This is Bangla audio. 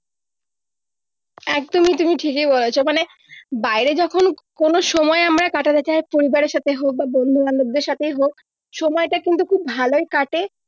একদমই তুমি ঠিকই বলেছো মানে বাইরে যখন কোনো সময় আমরা কাটাতে চাই পরিবারের সাথে হোক বা বন্ধু বান্ধোবদের সাথে হোক সময় টা কিন্তু খুব ভালোই কাটে